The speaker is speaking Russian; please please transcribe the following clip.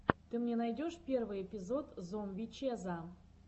ты мне найдешь первый эпизод зомби чеза